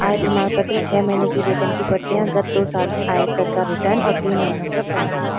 आय प्रमाण पत्र छः महीने की वेतन की पर्चियाँ ए गत दो साल आयकर का रिटर्न और तीन महीने का --